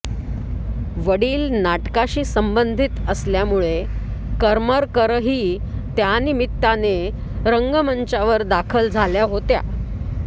वडील नाटकाशी संबंधित असल्यामुळे करमरकरही त्यानिमित्ताने रंगमंचावर दाखल झाल्या होत्या